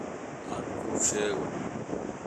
Aan kuu sheego.